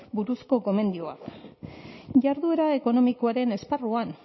buruzko gomendioak jarduera ekonomikoaren esparruan